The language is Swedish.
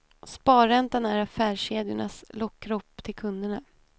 Sparräntan är affärskedjornas lockrop till kunderna.